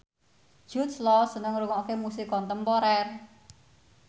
Jude Law seneng ngrungokne musik kontemporer